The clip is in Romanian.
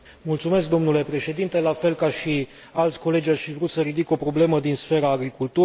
Domnule președinte, la fel ca și alți colegi, aș fi vrut să ridic o problemă din sfera agriculturii.